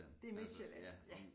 Det Midtsjælland ja